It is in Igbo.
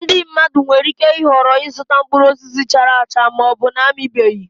Ndị mmadụ nwere ike ịhọrọ ịzụta mkpụrụ osisi chara acha ma ọ bụ na-amịbeghị